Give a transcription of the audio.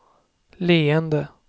leende